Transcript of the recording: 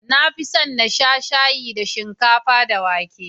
Na fin son na sha shayi da shinkafa da wake.